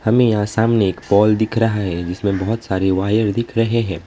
हमें यहां सामने एक पोल दिख रहा है जिसमें बहोत सारे वायर दिख रहे हैं।